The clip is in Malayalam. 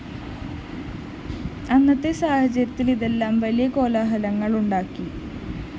അന്നത്തെ സാഹചര്യത്തില്‍ ഇതെല്ലാം വലിയ കോലാഹലങ്ങള്‍ ഉണ്ടാക്കി